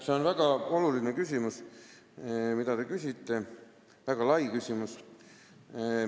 See on väga oluline ja väga lai küsimus.